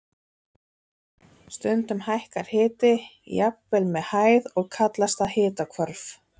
Stundum hækkar hiti jafnvel með hæð og kallast það hitahvörf.